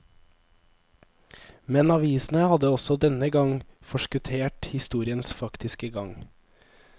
Men avisene hadde også denne gang forskuttert historiens faktiske gang.